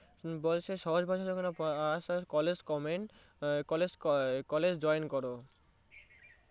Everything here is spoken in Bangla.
বলছে সহজ ভাষায় College join করো